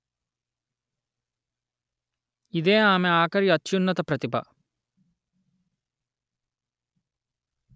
ఇదే ఆమె ఆఖరి అత్యున్నత ప్రతిభ